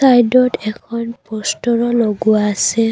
চাইডত এখন প'ষ্টাৰো লগোৱা আছে।